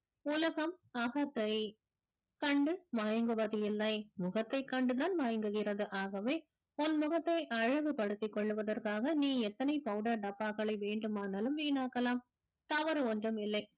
உலகம் அகத்தை கண்டு மயங்குவதில்லை முகத்தைக் கண்டுதான் மயங்குகிறது ஆகவே உன் முகத்தை அழகுபடுத்திக் கொள்வதற்காக நீ எத்தனை powder டப்பாக்களை வேண்டுமானாலும் வீணாக்கலாம் தவறு ஒன்றும் இல்லை